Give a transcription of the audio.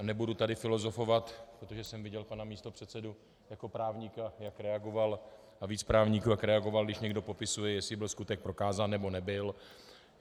A nebudu tady filozofovat, protože jsem viděl pana místopředsedu jako právníka, jak reagoval, a víc právníků, jak reagoval, když někdo popisuje, jestli byl skutek prokázán, nebo nebyl.